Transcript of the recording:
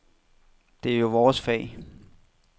Det er jo vores fag.